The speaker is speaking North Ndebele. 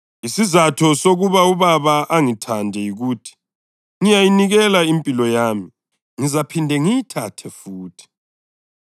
Isizatho sokuba uBaba angithande yikuthi ngiyayinikela impilo yami, ngizaphinde ngiyithathe futhi.